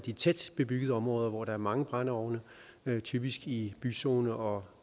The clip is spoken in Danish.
i tæt bebyggede områder hvor der er mange brændeovne typisk i byzone og